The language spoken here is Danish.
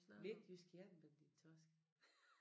Midtjysk jernbane din torsk